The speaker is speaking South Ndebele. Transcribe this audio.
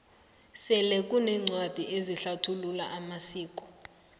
sele kuneencwadi ezihlathulula amasiko